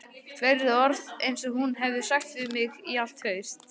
Fleiri orð en hún hefur sagt við mig í allt haust